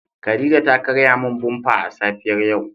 Khadijah ta karya min "bumper" a safiyar yau.